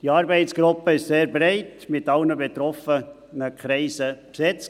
Die Arbeitsgruppe war sehr breit mit allen betroffenen Kreisen besetzt;